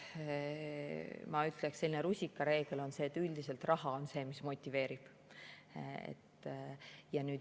Ma ütleksin, et rusikareegel on, et üldiselt raha on see, mis motiveerib.